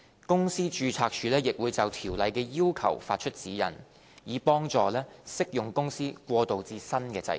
公司註冊處亦會就條例的要求發出指引，以助適用公司過渡至新制度。